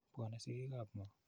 Pwone sigik ap ng'o?